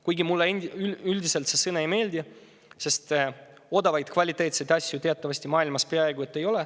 Kuigi mulle üldiselt see sõna ei meeldi, sest odavaid kvaliteetseid asju teatavasti maailmas peaaegu ei ole.